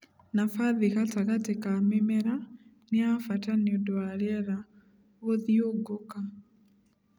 Nabathi gatagatĩ ka mĩmera nĩ yabata nĩũndũ wa rĩera gũthiungũka..